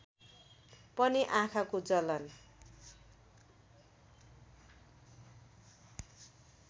पनि आँखाको जलन